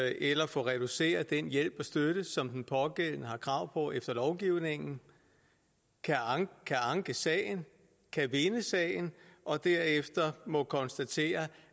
eller få reduceret den hjælp og støtte som den pågældende har krav på efter lovgivningen kan anke sagen kan vinde sagen og derefter må konstatere